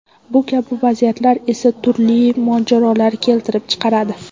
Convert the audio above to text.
Bu kabi vaziyatlar esa turli mojarolarni keltirib chiqaradi.